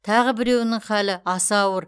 тағы біреуінің халі аса ауыр